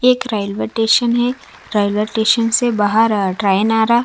एक railway station है railway station से बाहर ट्रेन आ रहा--